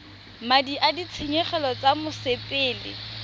madi a ditshenyegelo tsa mosepele